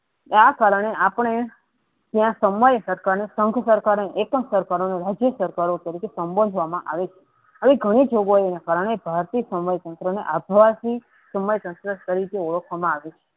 આ કારણે આપણે આવી ઘણી જોગવાઈના કારણે સમય તંતરબે આધ્યાત્મિક સમય તંત્ર તરીકે ઓળખવામાં આવે છે.